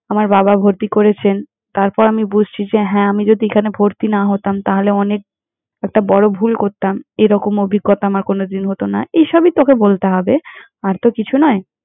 আমার বাবা ভর্তি করেছেন। তারপর আমি বুঝছি যে হ্যাঁ, যদি আমি এখানে ভর্তি না হতাম তাহলে অনেক একটা বড় ভুল করতাম, এরকম অভিজ্ঞতা আমার কোনোদিন হতো না। এইসবই, তোকে বলতে হবে, আর তো কিছু নয়।